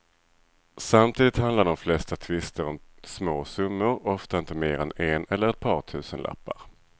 Samtidigt handlar de flesta tvister om små summor, ofta inte mer än en eller par tusenlappar.